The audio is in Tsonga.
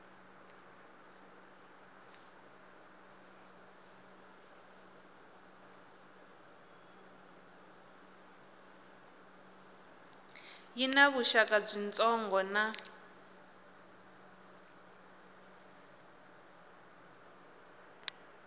yi na vuxaka byitsongo na